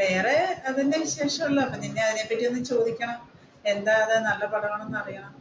വേറെ അത് തന്നെ വിശേഷമുള്ളത് അപ്പൊ ആരോടെങ്കിലും ചോയ്ക്കണം എന്താ അത് നല്ല പടമാണോ എന്നറിയണം